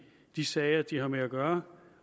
de sager de har med at gøre